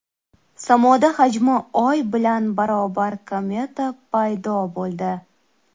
Samoda hajmi oy bilan barobar kometa paydo bo‘ldi.